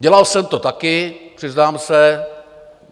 Dělal jsem to taky, přiznám se.